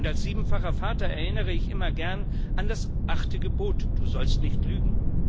Als siebenfacher Vater erinnere ich immer gern an das achte Gebot Du sollst nicht lügen.